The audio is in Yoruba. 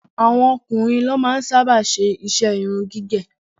Àwọn ọkùnrin ní wọn máa ń sábà ṣe iṣẹ́ irun gígẹ̀